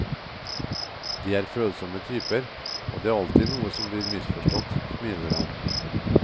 De er følsomme typer, og det er alltid noe som blir misforstått, smiler han.